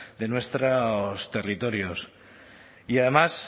de nuestros territorios y además